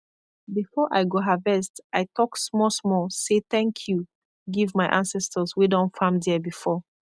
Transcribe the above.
before i go harvest i talk small small say thank you give my ancestors wey don farm there before